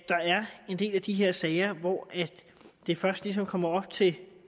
en del af de her sager hvor det først ligesom kommer op til